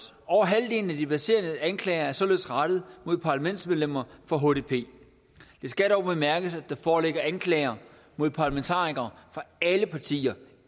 over halvdelen af de verserende anklager er således rettet mod parlamentsmedlemmer fra hdp det skal dog bemærkes at der foreligger anklager mod parlamentarikere fra alle partier